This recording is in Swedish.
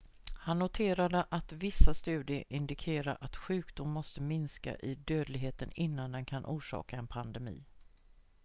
han noterade att vissa studier indikerar att sjukdomen måste minska i dödlighet innan den kan orsaka en pandemi